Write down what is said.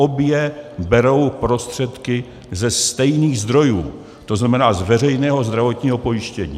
Obě berou prostředky ze stejných zdrojů, to znamená z veřejného zdravotního pojištění.